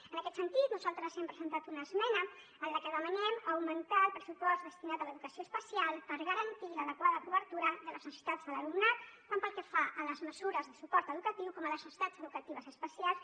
en aquest sentit nosaltres hem presentat una esmena en la que demanem augmentar el pressupost destinat a l’educació especial per garantir l’adequada cobertura de les necessitats de l’alumnat tant pel que fa a les mesures de suport educatiu com a les necessitats educatives especials